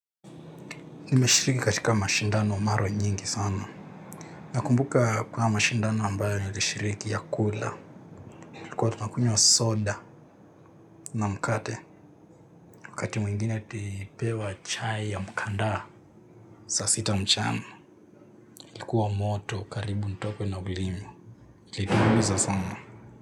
Nimeshiriki katika mashindano mara nyingi sana. Nakumbuka kwa mashindano ambayo nilishiriki ya kula. Ilikuwa tunakunywa soda na mkate. Wakati mwingine tulipewa chai ya mkandaa. Saa sita mchana. Ilikuwa moto karibu nitokwe na ulimu. Litumbuiza sana.